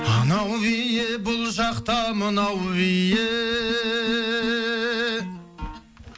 анау биі бұл жақта мынау биі